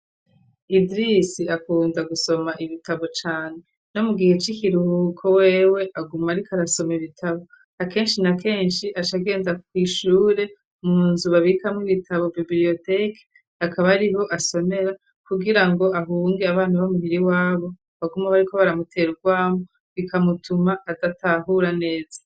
Idirisi akunda gusoma ibitabo cane. Nomugihe cikiruhuko wewe aguma ariko arasoma ibitabo akenshi na kenshi aca genda kwishure munzu babikama ibitabo biblioteque akaba ariho asomera .Kugira ngo ahunge abana b'amuhiri wabo baguma bo ariko baramutera urwamo bikamutuma adatahura neza.